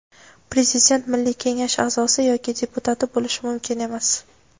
Prezident Milliy kengash a’zosi yoki deputati bo‘lishi mumkin emas.